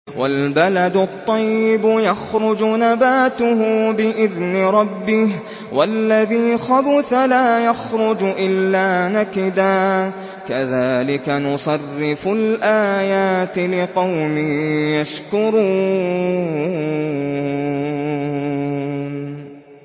وَالْبَلَدُ الطَّيِّبُ يَخْرُجُ نَبَاتُهُ بِإِذْنِ رَبِّهِ ۖ وَالَّذِي خَبُثَ لَا يَخْرُجُ إِلَّا نَكِدًا ۚ كَذَٰلِكَ نُصَرِّفُ الْآيَاتِ لِقَوْمٍ يَشْكُرُونَ